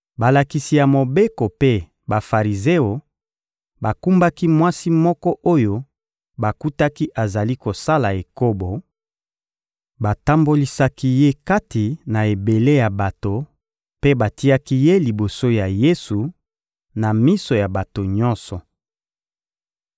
Balakisi ya Mobeko mpe Bafarizeo bakumbaki mwasi moko oyo bakutaki azali kosala ekobo; batambolisaki ye kati na ebele ya bato mpe batiaki ye liboso ya Yesu, na miso ya bato nyonso.